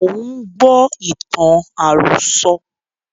Mo ń gbọ́ ìtàn àròsọ̀